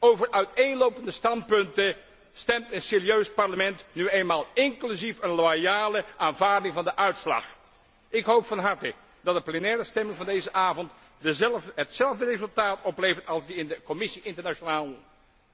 Over uiteenlopende standpunten stemt een serieus parlement nu eenmaal inclusief een loyale aanvaarding van de uitslag. Ik hoop van harte dat de plenaire stemming van deze avond hetzelfde resultaat oplevert als die in de Commissie internationale handel.